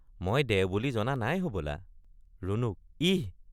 মই দেও বুলি জনা নাই হবলা ৷ ৰুণুক—ইহ্!